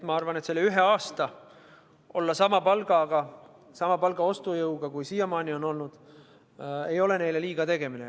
Ma arvan, et olla see üks aasta sama palgaga, mille ostujõud on sama, kui see siiamaani on olnud, ei ole neile liiga tegemine.